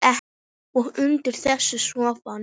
Og undir þessu sofnar enginn.